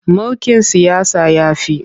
Mulkin siyasa ya fi.